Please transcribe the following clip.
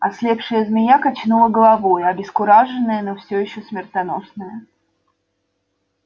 ослепшая змея качнула головой обескураженная но всё ещё смертоносная